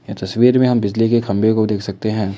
तस्वीर में हम बिजली के खंभे को देख सकते हैं।